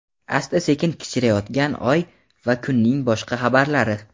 asta-sekin kichrayayotgan Oy va kunning boshqa xabarlari.